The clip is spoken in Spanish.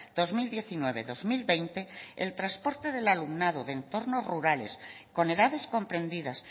dos mil diecinueve dos mil veinte el transporte del alumnado de entornos rurales con edades comprendidas